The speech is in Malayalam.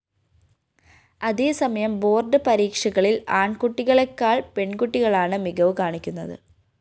അതേസമയം ബോർഡ്‌ പരീക്ഷകളില്‍ ആണ്‍കുട്ടികളെക്കാള്‍ പെണ്‍കുട്ടികളാണ് മികവ് കാണിക്കുന്നത്